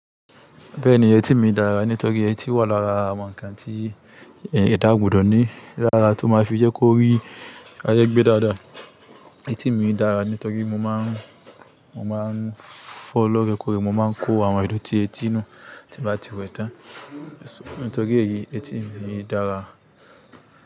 Bẹ́ẹ̀ni etí mi dára nítorí etí wà lára àwọn ǹkan tí ẹ̀dá gbùdọ̀ ní. Lára tó máa fi jẹ́ kó rí ayé gbé dáadáa. Etí mi dára nítorí mo máa ń, mo máa ń fọ loorekore, mo máa ń kó àwọn ìdọ̀tí etí nú tí bá ti wẹ tán. Nítorí èyí etí mi dára.